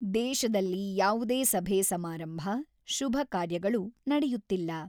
ದೇಶದಲ್ಲಿ ಯಾವುದೇ ಸಭೆ ಸಮಾರಂಭ, ಶುಭ ಕಾರ್ಯಗಳು ನಡೆಯುತ್ತಿಲ್ಲ.